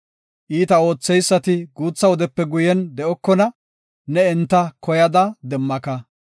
Iita ootheysati guutha wodepe guye de7okona; ne enta koyada demmaka.